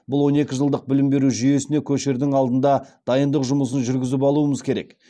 бұл он екі жылдық білім беру жүйесіне көшердің алдында дайындық жұмысын жүргізіп алуымыз керек